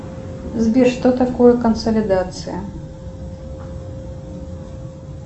сбер что такое консолидация